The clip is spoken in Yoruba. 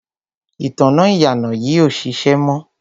ìtanná ìyànà yìí ò ṣiṣẹ́ mọ́.